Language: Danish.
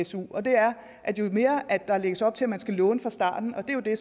su og det er at jo mere der lægges op til at man skal låne fra starten og det er jo det